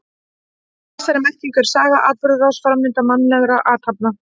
Í þessari merkingu er saga atburðarás, framvinda mannlegra athafna.